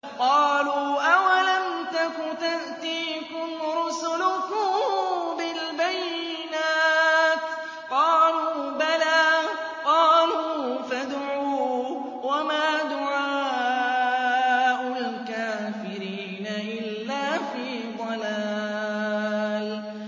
قَالُوا أَوَلَمْ تَكُ تَأْتِيكُمْ رُسُلُكُم بِالْبَيِّنَاتِ ۖ قَالُوا بَلَىٰ ۚ قَالُوا فَادْعُوا ۗ وَمَا دُعَاءُ الْكَافِرِينَ إِلَّا فِي ضَلَالٍ